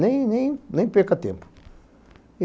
Nem perca tempo.